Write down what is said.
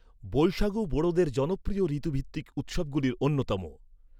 বৈশাগু বোড়োদের জনপ্রিয় ঋতুভিত্তিক উৎসবগুলির অন্যতম।